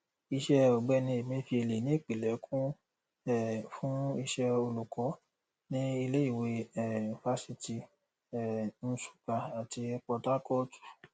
iṣẹ ọgbẹni emefiele ní ìpìlẹ kún um fún iṣẹ olùkọ ní ilé ìwé um fasítì um nsukka àti potakootu